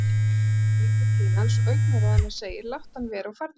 Andrea lítur til hans og augnaráð hennar segir, láttu hann vera og farðu niður.